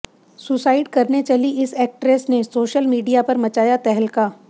suicide करने चली इस एक्ट्रेस ने सोशल मीडिया पर मचाया तहलका